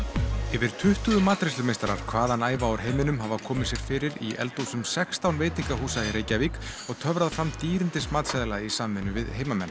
yfir tuttugu matreiðslumeistarar hvaðanæva úr heiminum hafa komið sér fyrir í eldhúsum sextán veitingahúsa í Reykjavík og töfrað fram dýrindis matseðla í samvinnu við heimamenn